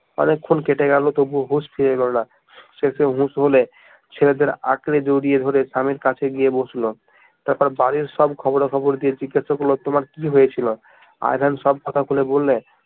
অনেকক্ষণ কেটে গেল তবুও হুশ ফিরে এলো না শেষে হুশ হলে ছেলেদের আঁকড়ে জড়িয়ে ধরে স্বামীর কাছে গিয়ে বসল তারপর বাড়ির সব খবরাখবর দিয়ে জিজ্ঞেস করলো তোমার কি হয়েছিল? আই ভেন সব কথা খুলে বললে